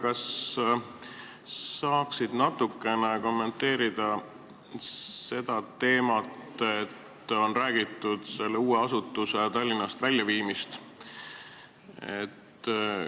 Kas saaksid natukene kommenteerida selle uue asutuse Tallinnast väljaviimise teemat?